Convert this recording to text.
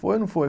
Foi ou não foi?